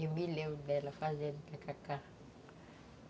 Eu me lembro dela fazendo tacacá.